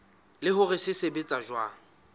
le hore se sebetsa jwang